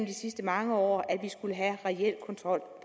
de sidste mange år at man skulle have reel kontrol